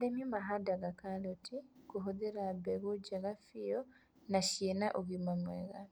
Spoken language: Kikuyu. Arĩmi mahandaga karoti na kũhuthĩra mbegũ njega biu na ciĩna na ũgima mwega